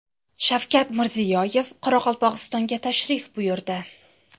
Shavkat Mirziyoyev Qoraqalpog‘istonga tashrif buyurdi.